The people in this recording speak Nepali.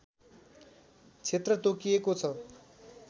क्षेत्र तोकिएको छ